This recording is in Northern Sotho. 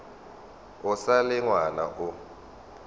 o sa le ngwana o